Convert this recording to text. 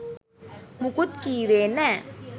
මුකුත් කිව්වේ නෑ